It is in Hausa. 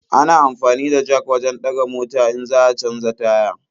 Ana amfani da jak wajen ɗaga mota in za a canja taya.